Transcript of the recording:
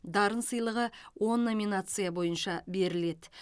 дарын сыйлығы он номинация бойынша беріледі